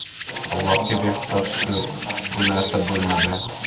Allohga behisob shukr, bu narsa bo‘lmadi.